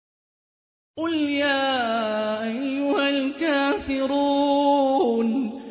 قُلْ يَا أَيُّهَا الْكَافِرُونَ